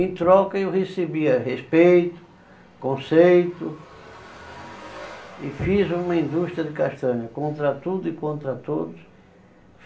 Em troca eu recebia respeito, conceito e fiz uma indústria de castanha contra tudo e contra todos.